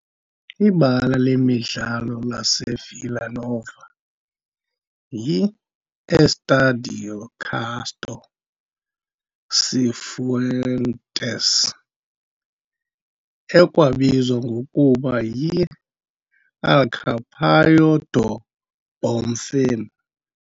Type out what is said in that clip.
Ibala lemidlalo laseVilla Nova yi-Estádio Castor Cifuentes, ekwabizwa ngokuba yi"Alçapão do Bonfim".